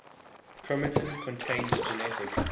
chromatin contains genetic